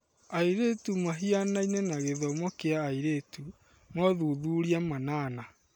Airĩtu mahianaine na gĩthomo kĩa airĩtu (mothuthuria manana)